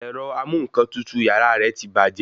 Ẹ̀rọ amú-ǹkan-tutù yàrá rẹ ti bàjẹ́